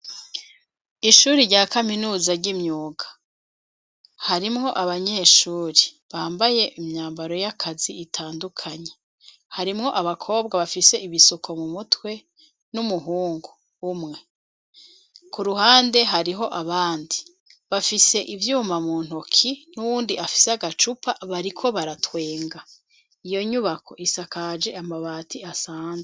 Ishure rya kaminuza ry'imyuga harimwo abanyeshure bambaye imyambaro y'akazi itandukanye. Harimwo abakobwa bafise ibisuko mu mutwe n'umuhungu umwe. Ku ruhande hariho abandi bafise ivyuma mu ntoki n'uwundi afise agacupa bariko baratwenga. Iyo nyubako isakaje amabati asanzwe.